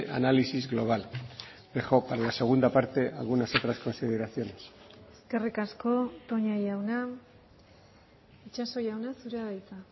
análisis global dejo para la segunda parte algunas otras consideraciones eskerrik asko toña jauna itxaso jauna zurea da hitza